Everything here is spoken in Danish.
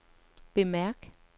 bemærk